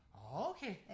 åh okay